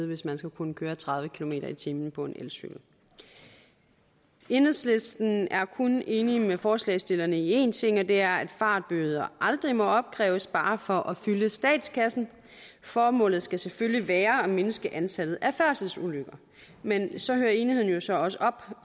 hvis man skal kunne køre tredive kilometer per time på en elcykel enhedslisten er kun enig med forslagsstillerne i én ting og det er at fartbøder aldrig må opkræves bare for at fylde statskassen formålet skal selvfølgelig være at mindske antallet af færdselsulykker men så hører enigheden jo så også op